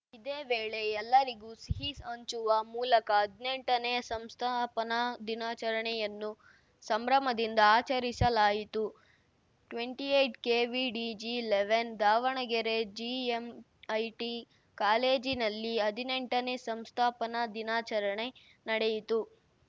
ಇದೇ ವೇಳೆ ಎಲ್ಲರಿಗೂ ಸಿಹಿ ಹಂಚುವ ಮೂಲಕ ಹದ್ನೆಂಟನೇ ಸಂಸ್ಥಾಪನಾ ದಿನಾಚರಣೆಯನ್ನು ಸಂಭ್ರಮದಿಂದ ಆಚರಿಸಲಾಯಿತು ಟ್ವೆಂಟಿ ಎಯ್ಟ್ ಕೆಡಿವಿಜಿಲೆವೆನ್ ದಾವಣಗೆರೆ ಜಿಎಂಐಟಿ ಕಾಲೇಜಿನಲ್ಲಿ ಹದಿನೆಂಟನೇ ಸಂಸ್ಥಾಪನಾ ದಿನಾಚರಣೆ ನಡೆಯಿತು